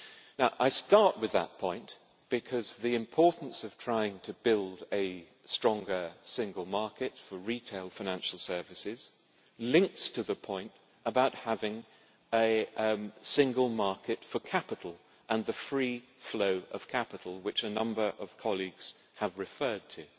Now I start with that point because the importance of trying to build a stronger single market for retail financial services links to the point about having a single market for capital and the free flow of capital, which a number of colleagues have referred to.